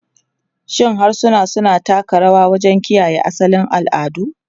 Shin harsuna suna taka rawa wajen kiyaye asalin al'adu?